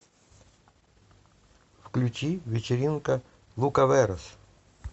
включи вечеринка лукаверос